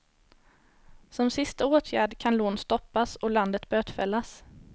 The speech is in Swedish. Som sista åtgärd kan lån stoppas och landet bötfällas.